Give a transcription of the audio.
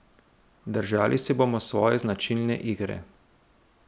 Držali se bomo svoje značilne igre.